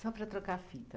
Só para trocar a fita.